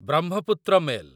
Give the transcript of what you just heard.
Brahmaputra mail